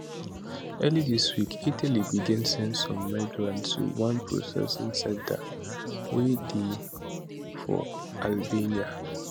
early dis week italy begin send some migrants to one processing centre wey dey for albania